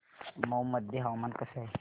मौ मध्ये हवामान कसे आहे